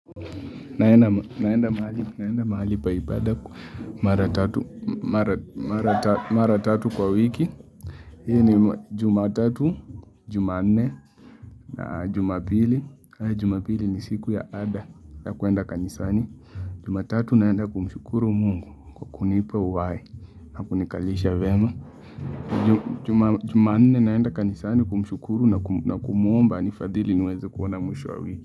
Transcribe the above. Naenda mahali pa ibada kwa mara tatu kwa wiki. Hii ni jumatatu, jumanne na jumapili. Jumapili ni siku ya ada ya kuenda kanisani. Jumatatu naenda kumshukuru mungu kwa kunipa uhai na kunikalisha vyema. Jumanne naenda kanisani kumshukuru na kumuomba anifadhili niweze kuona mwisho wa wi.